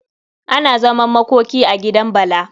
Ana zaman makoki a gidan Bala.